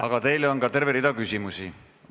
Aga teile on ka terve rida küsimusi.